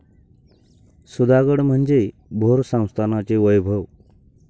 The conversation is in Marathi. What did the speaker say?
सुधागड म्हणजे भोर संस्थानाचे वैभव.